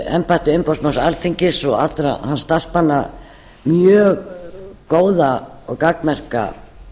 embætti umboðsmanns alþingis og allra hans starfsmanna mjög góða og gagnmerka